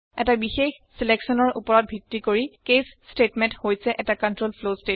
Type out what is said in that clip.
এটা বিশেষ চিলেকচনৰ ওপৰত ভিত্তি কৰি কেচ ষ্টেটমেণ্ট হৈছে এটা কন্ট্ৰল ফ্লৱ statement